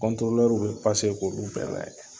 kɔntorolɛru be pase k'olu bɛɛ lajɛ